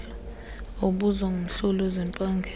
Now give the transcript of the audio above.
obuzwa ngumhloli wezempangelo